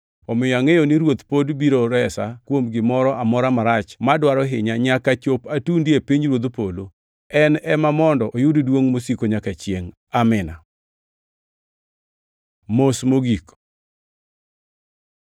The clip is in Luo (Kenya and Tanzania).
Omiyo angʼeyo ni Ruoth pod biro resa kuom gimoro amora marach madwaro hinya nyaka chop atundi e pinyruodh polo. En ema mondo oyud duongʼ mosiko nyaka chiengʼ. Amin. Mos mogik